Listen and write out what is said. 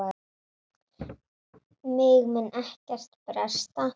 Mig mun ekkert bresta.